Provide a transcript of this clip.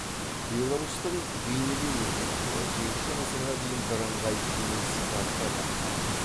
беларусьтің бейнелеу өнері он сегізінші ғасырға дейін бірыңғай діни сипатта дамыды